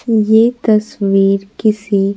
ये तस्वीर किसी।